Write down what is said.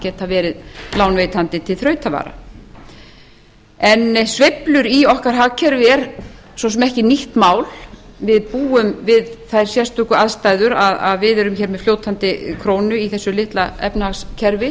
geta verið lánveitandi til þrautavara en sveiflur í okkar hagkerfi eru svo sem ekki nýtt mál við búum við þær sérstöku aðstæður að við erum með fljótandi krónu í þessu litla efnahagskerfi